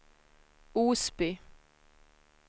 Osby